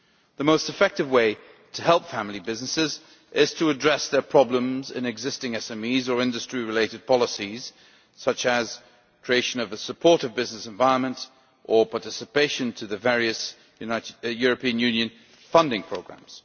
The most effective way to help family businesses is to address their problems in existing SMEs or industry related policies such as the creation of a supportive business environment or participation in the various European Union funding programmes.